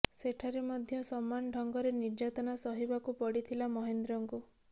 ସେଠାରେ ମଧ୍ୟ ସମାନ ଢଙ୍ଗରେ ନିର୍ଯାତନା ସହିବାକୁ ପଡ଼ିଥିଲା ମହେନ୍ଦ୍ରଙ୍କୁ